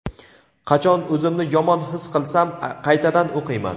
Qachon o‘zimni yomon his qilsam qaytadan o‘qiyman.